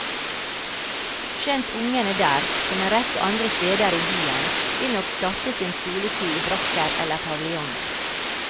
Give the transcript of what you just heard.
Skjønt ungene der, som en rekke andre steder i byen, vil nok starte sin skoletid i brakker eller paviljonger.